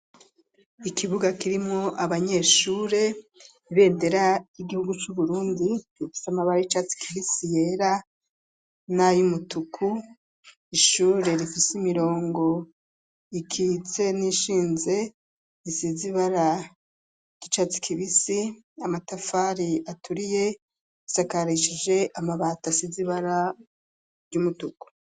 Ikibuga, kirimwo abanyeshure, ibendera ry'igihugu c'Uburundi, rifise amabara, y'icatsi kibisi, yera n'ay'umutuku; ishure rifise imirongo ikitse, n'iyishinze, isize ibara ry'icatsi kibisi, amatafari aturiye, isakarishije amabati, asize ibara ry'umutuku.